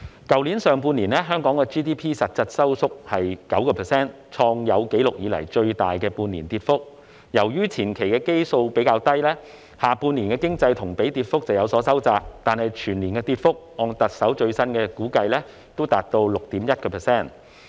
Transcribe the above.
去年上半年，香港 GDP 實質收縮 9%， 創有紀錄以來最大的半年跌幅，而由於前期基數比較低，下半年的經濟同比跌幅便有所收窄，但按特首最新的估計，全年跌幅仍達 6.1%。